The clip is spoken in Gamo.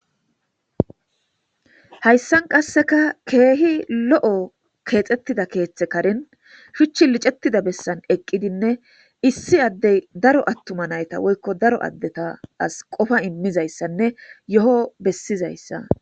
Hayssan qasseka keehi lo'o keexxettida keeththe karin hichchi licettida bessan eqqidinne issi addey daro attuma nayta woykko daro addeta as qofa immizayssanne yo.o bessizayssa.